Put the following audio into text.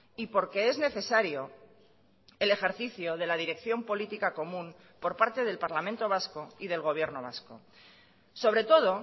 y porque es necesario el ejercicio de la dirección política común por parte del parlamento vasco y del gobierno vasco sobre todo